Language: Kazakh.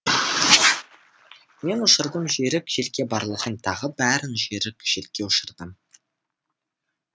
мен ұшырдым жүйрік желге барлығын тағы бәрін жүйрік желге ұшырдым